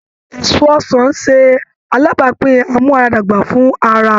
Èso ọsàn ń ṣe alábàápín amu ara dàgbà fún ara